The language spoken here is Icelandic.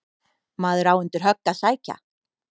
Maður á undir högg að sækja.